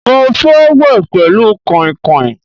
Mo fẹ́ wẹ̀ pẹlu kainkain